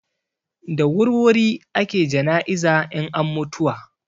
Da wurwuri ake jana'iza in an mutuwa.